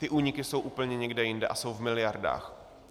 Ty úniky jsou úplně někde jinde a jsou v miliardách.